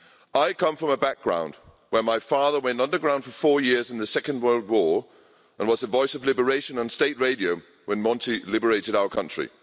I come from a background where my father went underground for four years in the Second World War and was the voice of liberation on state radio when Monty liberated our country.